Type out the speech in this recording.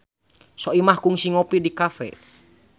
Soimah kungsi ngopi di cafe